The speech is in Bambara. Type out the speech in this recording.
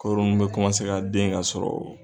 Kɔɔri nunnu bɛ kɔmase ka den ka sɔrɔ.